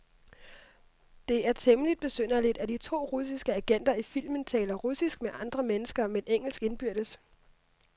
Det er temmeligt besynderligt, at de to russiske agenter i filmen taler russisk med andre mennesker, men engelsk indbyrdes.